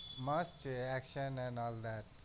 મસ્ત છે action and all that